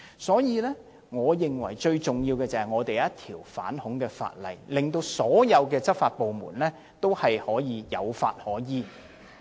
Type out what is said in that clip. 所以，最重要的是，我們必須訂立一項反恐法例，讓所有執法部門能夠有法可依。